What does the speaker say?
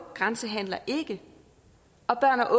grænsehandler ikke og børn og